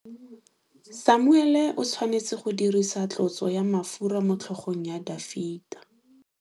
Samuele o tshwanetse go dirisa tlotsô ya mafura motlhôgong ya Dafita.